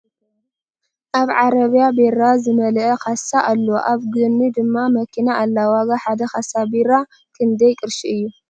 ኣብ ዕረብያ ቢራ ዝመለአ ካሳ ኣሎ ኣብ ጎኒ ድማ መኪና ኣላ ። ዋጋ ሓደ ካሳ ቢራ ክንደይ ቅርሺ እዩ ?